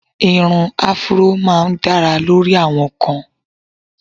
Ìrun áfúró máá ń dára lórí àwọn kan